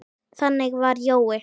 Þannig var Jói.